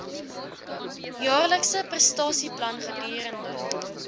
jaarlikse prestasieplan gedurende